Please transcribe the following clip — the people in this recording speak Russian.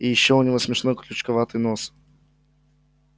и ещё у него смешной крючковатый нос